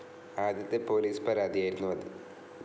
ആദ്യത്തെ പോലീസ് പരാതിയായിരുന്നു അത്.